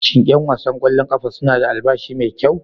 Shin 'yan wasan kwallon kafa suna da albashi mai kyau?